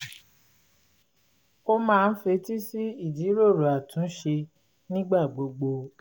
ó máa ń fetí sí ìjíròrò àtúnṣe nígbà gbogbo